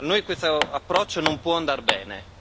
A noi questo approccio non può andar bene.